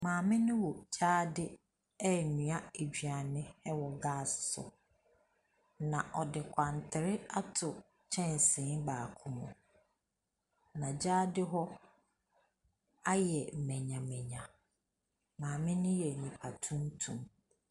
Maame no wɔ gyaade renoa aduane wɔ gas so. Na ɔde kwantere ato kyɛnsee baako mu. Na gyaade hɔ ayɛ manyamanya. Maame no yɛ nipa tuntum.